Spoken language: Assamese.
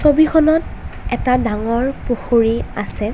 ছবিখনত এটা ডাঙৰ পুখুৰী আছে।